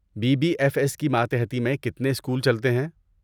Be B F S کی ماتحتی میں کتنے اسکول چلتے ہیں؟